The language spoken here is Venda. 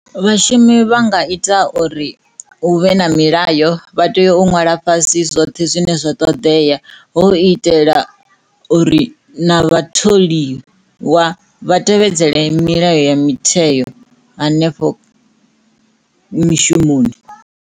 Vhashumi vha nga ita uri hu vhe na milayo vha tea nwala fhasi zwoṱhe zwine zwa ṱoḓea hu u itela uri na vhatholiwa vha tevhedzele milayo ya mitheyo hanefho mishumoni.